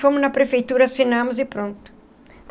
Fomos na prefeitura, assinamos e pronto.